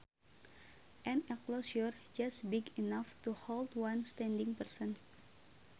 An enclosure just big enough to hold one standing person